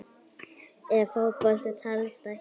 Ef Fótbolti telst ekki með?